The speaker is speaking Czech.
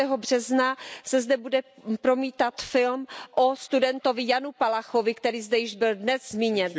března se zde bude promítat film o studentovi Janu Palachovi, který zde již byl dnes zmíněn.